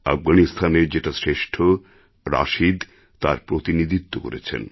আফগানিস্তানের যেটা শ্রেষ্ঠ রাশিদ তার প্রতিনিধিত্ব করেছেন